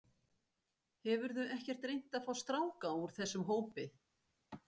Hefurðu ekkert reynt að fá stráka úr þessum hópi?